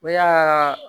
Ne y'a